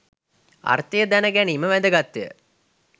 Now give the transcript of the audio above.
අර්ථය දැන ගැනීම වැදගත්ය.